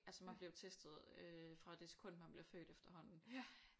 Altså man bliver jo testet øh fra det sekund man bliver født efterhånden